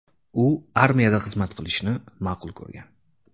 U armiyada xizmat qilishni ma’qul ko‘rgan.